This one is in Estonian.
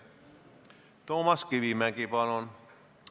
Toomas Kivimägi, palun!